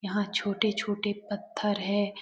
यहाँ छोटे-छोटे पत्थर हैं।